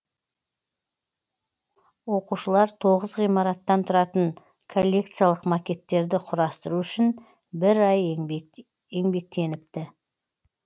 оқушылар тоғыз ғимараттан тұратын коллекциялық макеттерді құрастыру үшін бір ай еңбектеніпті